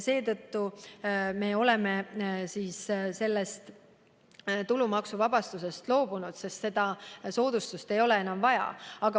Seetõttu me olemegi tulumaksuvabastusest loobunud, seda soodustust ei ole enam vaja.